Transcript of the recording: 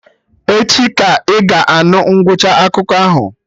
Echi ka ị ga-anụ ngwụcha akụkọ ahụ